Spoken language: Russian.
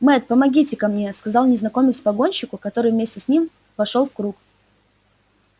мэтт помогите ка мне сказал незнакомец погонщику который вместе с ним вошёл в круг